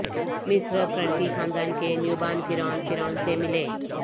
مصر فرنٹی خاندان کے نیوبان فرعون فرعون سے ملیں